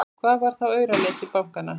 Hvar var þá auraleysi bankanna!